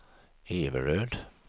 Everöd